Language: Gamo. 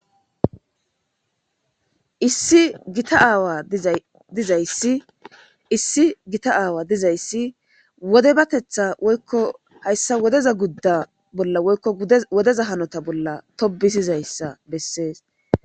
Issi gita aawa dizay dizayssi issi gita aawa dizayssi wodebateththa woykko hayssa wodeza gudda bolla woykko wodeza hanota bolla tobbisizayssa bessees.